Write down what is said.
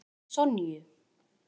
Hvað með Sonju?